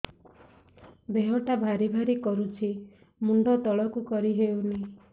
ଦେହଟା ଭାରି ଭାରି କରୁଛି ମୁଣ୍ଡ ତଳକୁ କରି ହେଉନି